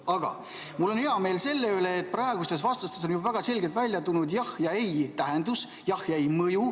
Aga mul on hea meel selle üle, et praegustes vastustes on väga selgelt välja tulnud jahhi ja ei tähendus, jahhi ja ei mõju.